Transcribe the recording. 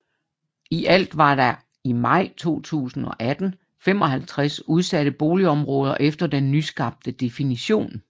I alt var der i maj 2018 55 udsatte boligområder efter den nyskabte definition